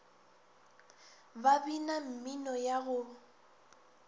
ba bina mmino ya go